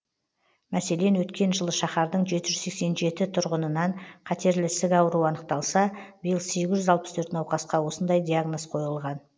мәселен өткен жылы шаһардың жеті жүз сексен жеті тұрғынынан қатерлі ісік ауруы анықталса биыл сегіз жүз алпыс төрт науқасқа осындай диагноз қойылған